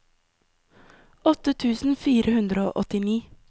åtte tusen fire hundre og åttini